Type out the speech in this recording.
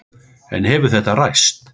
En hefur þetta ræst?